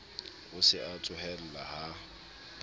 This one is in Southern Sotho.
o se a tsohella ha